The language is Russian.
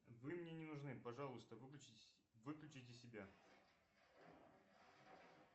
вы мне не нужны пожалуйста выключите себя